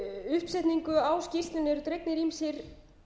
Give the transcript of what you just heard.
uppsetningu á skýrslunni eru dregnir ýmsir